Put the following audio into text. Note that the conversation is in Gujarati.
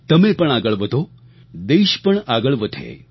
તમે પણ આગળ વધો દેશ પણ આગળ વધે